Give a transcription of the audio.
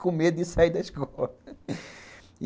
Com medo de sair da escola.